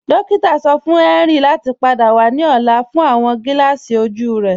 Dòkìtà sọ fún Henry láti pádà wà ní ọ̀là fún awọn gílààsí ojú rẹ.